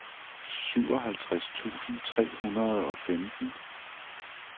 syvoghalvtreds tusind tre hundrede og femten